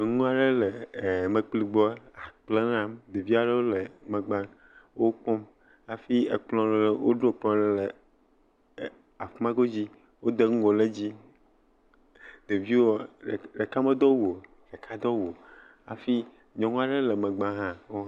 Nyɔnu aɖe le emekpli gbɔ he akple ɖam. Ɖevi aɖe le megbe wòkpɔm hafi ekplɔ aɖe, woɖo ekplɔ aɖe le afima godzi. Wode ŋgo ɖe edzi. Ɖeviwo, ɖeke medo awu o hafi nyɔnua ɖe le megbe hã.